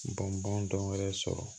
Bɔn bɔn dɔ wɛrɛ sɔrɔ